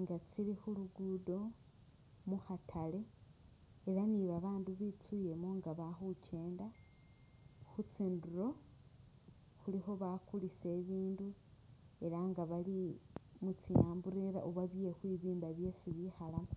nga tsili khulugudo mukhatale ela ni babandu bitsulemo nga bakhukyenda khustinduro khulikho bakulisa ibindu ela nga bali mutsi umbrella oba bye’khwibimba byesi bikhalamo